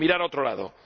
de mirar a otro lado.